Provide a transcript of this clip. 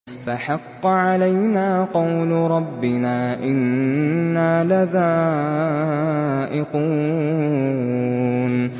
فَحَقَّ عَلَيْنَا قَوْلُ رَبِّنَا ۖ إِنَّا لَذَائِقُونَ